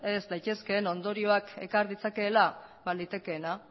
ez daitezkeen ondorioak ekar ditzakeela ba litekeena